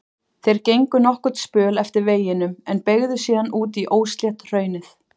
Þeir gengu nokkurn spöl eftir veginum en beygðu síðan út í óslétt hraunið.